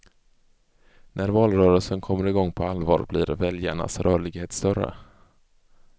När valrörelsen kommer igång på allvar, blir väljarnas rörlighet större.